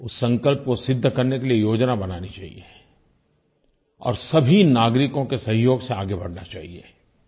उस संकल्प को सिद्ध करने के लिये योजना बनानी चाहिये और सभी नागरिकों के सहयोग से आगे बढ़ना चाहिये